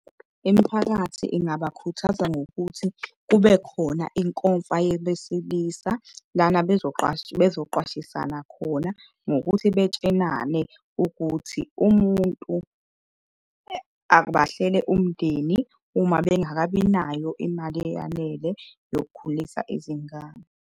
Imiphakathi ingabakhuthaza ngokuthi kube khona inkomfa yebesilisa lana bezoqwashisana khona ngokuthi betshenane ukuthi umuntu, abahlele umndeni uma bengakabi nayo imali eyanele yokukhulisa izingane.